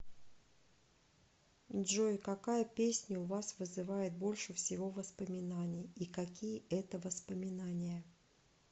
джой какая песня у вас вызывает больше всего воспоминаний и какие это воспоминания